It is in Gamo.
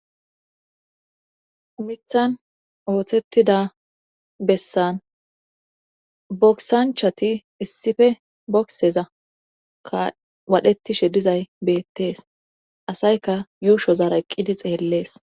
mithan oothettida bessan boksanchati issife bokseza ka waadhettishe dizay beettees asayka yuushozaara eqqidi xeellees